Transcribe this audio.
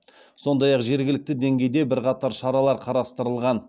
сондай ақ жергілікті деңгейде бірқатар шаралар қарастырылған